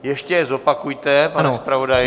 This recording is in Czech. Ještě je zopakujte, pane zpravodaji.